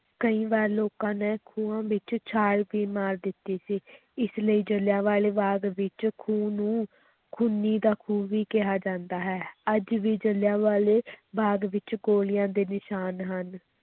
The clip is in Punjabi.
ਕਈ ਵਾਰ ਲੋਕਾਂ ਨੇ ਖੂਹਾਂ ਵਿੱਚ ਛਾਲ ਵੀ ਮਾਰ ਦਿੱਤੀ ਸੀ ਇਸ ਲਈ ਜਿਲ੍ਹਿਆਂਵਾਲੇ ਬਾਗ ਵਿੱਚ ਖੂਹ ਨੂੰ ਖੂਨੀ ਦਾ ਖੂਹ ਵੀ ਕਿਹਾ ਜਾਂਦਾ ਹੈ, ਅੱਜ ਵੀ ਜ਼ਿਲ੍ਹਿਆਂਵਾਲੇ ਬਾਗ਼ ਵਿਚ ਗੋਲੀਆਂ ਦੇ ਨਿਸ਼ਾਨ ਹਨ